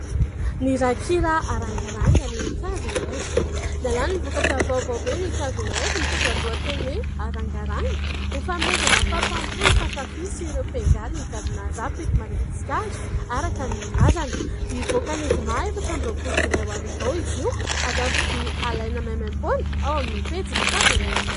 Ny rakikira "Arangaranga" n'i KVR : miala any ny vokatra vaovao be n'i KVR mitondra ny lohateny hoe : "Arangaranga " ho fanomezana fahafaham-po ny mpakafy ireo mpiangaly ny gadona Rap eto Madagasikara araka ny nambarany " hivoaka ny zoma efatra amby roapolo jolay ho avy izao izy io, ary azo alaina maimaim-poana ao amin'ny pejin'i KVR ".